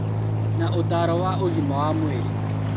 Na ũtaaro wa ũgima wa mwĩrĩ